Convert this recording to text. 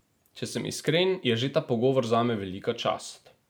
Če sem iskren, je že ta pogovor zame velika čast.